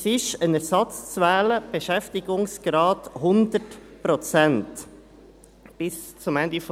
Bis zum Ende der regulären Amtsdauer ist ein Ersatz, Beschäftigungsgrad 100 Prozent, zu wählen.